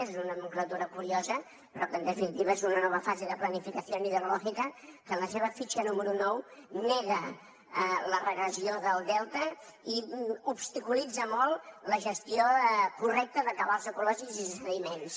és una nomenclatura curiosa però que en definitiva és una nova fase de planificación hidrológica que en la seva fitxa número nou nega la regressió del delta i obstaculitza molt la gestió correcta de cabals ecològics i sediments